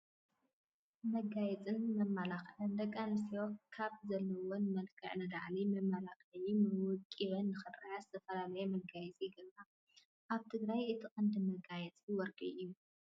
መጋየፅን መመላኽዕን፡- ደቂ ኣንስትዮ ካብ ዘለዎን መልክዕ ንላዕሊ መልኪዐንን ወቂበንን ንኽረአያ ዝተፈላለዩ መጋየፂ ይገብራ፡፡ ኣብ ትግራይ እቲ ቀንዲ መጋየፂ ወርቂ እዩ፡፡